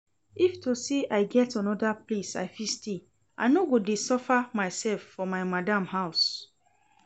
If to say I get another place I fit stay I no go dey suffer myself for my madam house